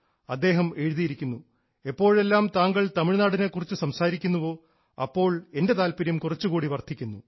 അദ്ദേഹം എഴുതിയിരിക്കുന്നു എപ്പോഴെല്ലാം താങ്കൾ തമിഴ്നാടിനെ കുറിച്ച് സംസാരിക്കുന്നുവോ അപ്പോൾ എൻറെ താല്പര്യം കുറച്ചുകൂടി വർദ്ധിക്കുന്നു